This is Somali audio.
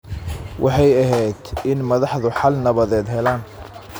Waxay ahayd in madaxdu xal nabadeed helaan.